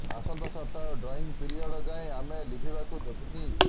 ଆସନ୍ତା ସପ୍ତାହ drawing period ଯାଏଁ ଆମେ ଲିଭିବାକୁ ଦେବୁନି